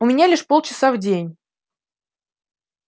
у меня лишь полчаса в день